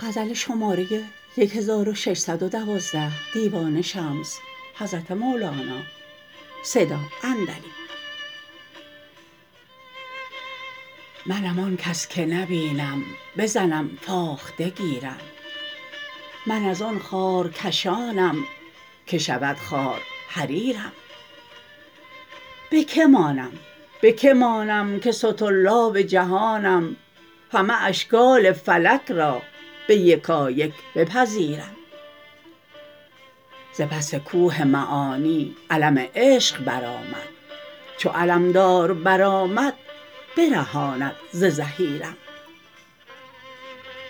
منم آن کس که نبینم بزنم فاخته گیرم من از آن خارکشانم که شود خار حریرم به کی مانم به کی مانم که سطرلاب جهانم همه اشکال فلک را به یکایک بپذیرم ز پس کوه معانی علم عشق برآمد چو علمدار برآمد برهاند ز زحیرم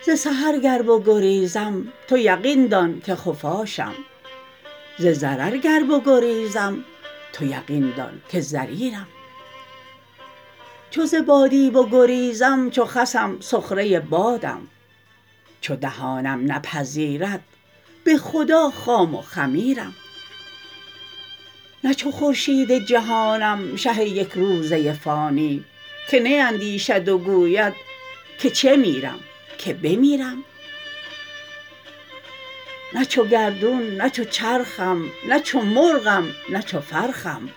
ز سحر گر بگریزم تو یقین دان که خفاشم ز ضرر گر بگریزم تو یقین دان که ضریرم چو ز بادی بگریزم چو خسم سخره بادم چو دهانم نپذیرد به خدا خام و خمیرم نه چو خورشید جهانم شه یک روزه فانی که نیندیشد و گوید که چه میرم که بمیرم نه چو گردون نه چو چرخم نه چو مرغم نه چو فرخم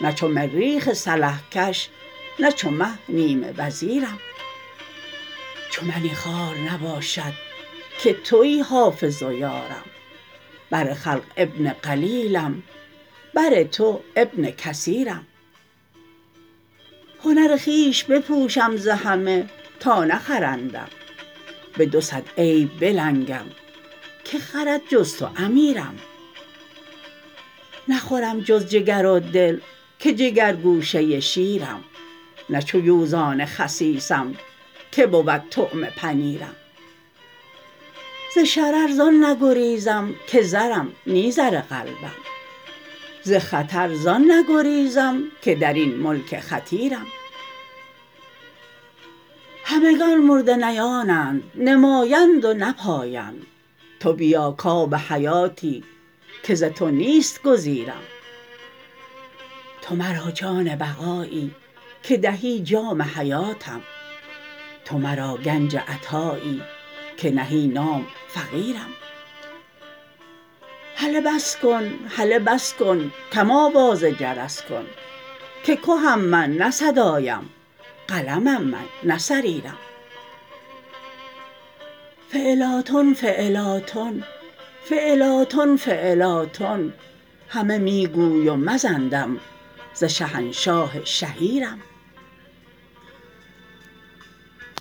نه چو مریخ سلح کش نه چو مه نیمه وزیرم چو منی خوار نباشد که توی حافظ و یارم بر خلق ابن قلیلم بر تو ابن کثیرم هنر خویش بپوشم ز همه تا نخرندم بدو صد عیب بلنگم که خرد جز تو امیرم نخورم جز جگر و دل که جگرگوشه شیرم نه چو یوزان خسیسم که بود طعمه پنیرم ز شرر زان نگریزم که زرم نی زر قلبم ز خطر زان نگریزم که در این ملک خطیرم همگان مردنیانند نمایند و نپایند تو بیا کآب حیاتی که ز تو نیست گزیرم تو مرا جان بقایی که دهی جام حیاتم تو مرا گنج عطایی که نهی نام فقیرم هله بس کن هله بس کن کم آواز جرس کن که کهم من نه صدایم قلمم من نه صریرم فعلاتن فعلاتن فعلاتن فعلاتن همه می گوی و مزن دم ز شهنشاه شهیرم